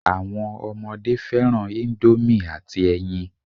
Àwọn ọmọdé fẹ́ràn ìndòmí àti ẹyin